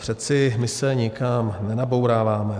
Přece my se nikam nenabouráváme.